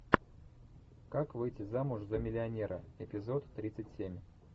как выйти замуж за миллионера эпизод тридцать семь